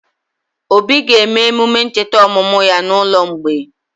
Obi ga-eme emume ncheta ọmụmụ ya n'ụlọ mgbei?